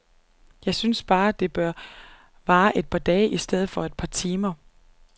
Jeg synes bare, det bør vare et par dage i stedet for et par timer.